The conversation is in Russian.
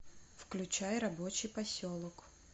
включай рабочий поселок